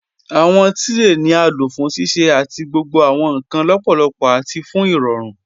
Awọn tirẹ ni a lo fún ṣíṣẹ̀ àti gbogbo awọn nkan lọ́pọlọ́pọ̀ àti fún irọ̀rùn.